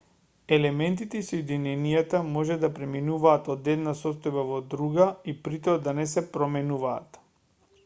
елементите и соединенијата може да преминуваат од една состојба во друга и притоа да не се променуваат